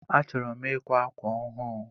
Achọrọ m ikwa ákwà ọhụụ